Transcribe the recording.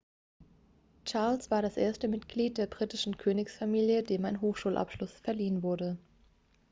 charles war das erste mitglied der britischen königsfamilie dem ein hochschulabschluss verliehen wurde